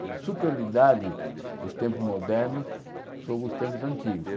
Superioridade dos tempos modernos sobre os tempos antigos.